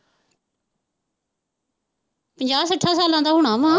ਪੰਜਾਹ-ਸੱਠਾਂ ਸਾਲਾਂ ਦਾ ਹੋਣਾ ਵਾ।